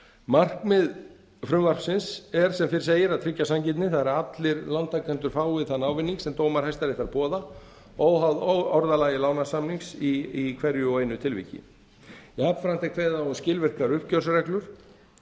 markmið frumvarpsins er sem fyrr segir að tryggja sanngirni það er að allir lántakendur fái þann ávinning sem dómar hæstaréttar boða óháð orðalagi lánasamnings í hverju og einu tilviki jafnframt er kveðið á um skilvirkar uppgjörsreglur